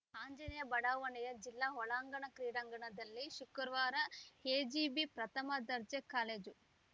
ಆಂಜನೇಯ ಬಡಾವಣೆಯ ಜಿಲ್ಲಾ ಒಳಾಂಗಣ ಕ್ರೀಡಾಂಗಣದಲ್ಲಿ ಶುಕ್ರವಾರ ಎಜಿಬಿ ಪ್ರಥಮ ದರ್ಜೆ ಕಾಲೇಜು